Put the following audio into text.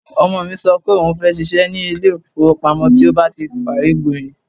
Ọmọ mi sọ pé òun fẹ́ ṣiṣẹ́ ní ilé ìfowópamọ́ tí ó bá ti kàwé gboyè.